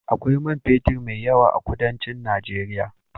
Akwai man fetur mai yawa a kudancin Nageria.